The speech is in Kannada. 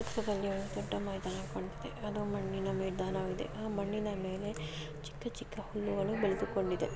ಈ ಚಿತ್ರದಲ್ಲಿ ಒಂದು ಚಿಕ್ಕ ಮೈದಾನ ಕಾಣಿಸ್ತಾಯಿದೆ ಅದು ಮಣ್ಣಿನ ಮೈದಾನವಾಗಿದೆ. ಆ ಮಣ್ಣಿನಮೇಲೆ ಚಿಕ್ಕಚಿಕ್ಕ ಹುಲ್ಲುಗಳು ಬೆಳೆದುಕೊಂಡಿದೆ.